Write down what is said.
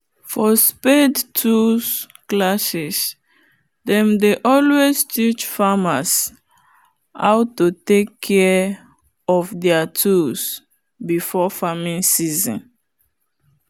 for spade tools classes them dey always teach farmers how to take care of there tools before farming season